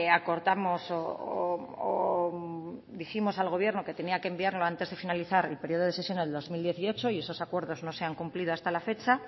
acordamos o dijimos al gobierno que tenía que enviarlo antes de finalizar el periodo de sesiones de dos mil dieciocho y esos acuerdos no se han cumplido hasta la fecha